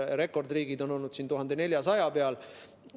Rekordriigid on olnud 1400 peal.